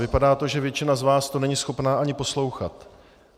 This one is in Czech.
Vypadá to, že většina z vás to není schopna ani poslouchat.